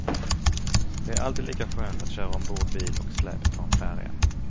Det är alltid lika skönt att köra ombord bil och släp på en färja.